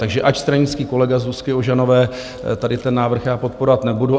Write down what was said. Takže ač stranický kolega Zuzky Ožanové, tady ten návrh já podporovat nebudu.